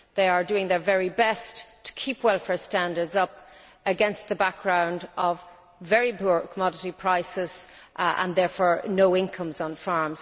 They are doing their very best to keep welfare standards up, against the background of very poor commodity prices and, therefore, no income on farms.